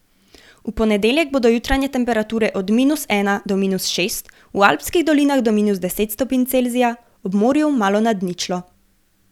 V ponedeljek bodo jutranje temperature od minus ena do minus šest, v alpskih dolinah do minus deset stopinj Celzija, ob morju malo nad ničlo.